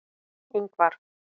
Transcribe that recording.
Ingvar